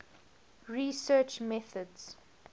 research methods